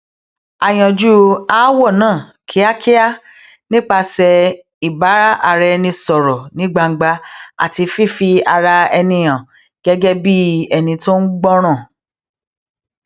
a yanjú aáwò náà kíákíá nípasè ìbáraẹnisòrò ní gbangba àti fífi ara ẹni hàn gégé bí ẹni tó ń gbọràn